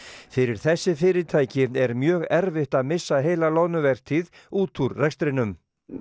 fyrir þessi fyrirtæki er mjög erfitt að missa heila loðnuvertíð út út rekstrinum